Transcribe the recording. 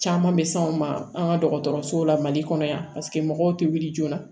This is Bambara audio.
Caman bɛ s'anw ma an ka dɔgɔtɔrɔsow la mali kɔnɔ yan paseke mɔgɔw tɛ wuli joona